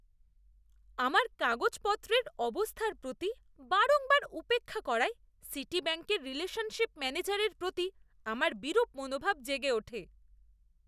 আমার কাগজপত্রের অবস্থার প্রতি বারংবার উপেক্ষা করায় সিটিব্যাঙ্কের রিলেশনশিপ ম্যানেজারের প্রতি আমার বিরূপ মনোভাব জেগে ওঠে।